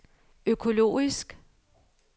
økologisk